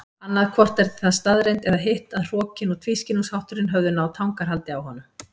Annaðhvort var það staðreynd eða hitt að hrokinn og tvískinnungshátturinn höfðu náð tangarhaldi á honum.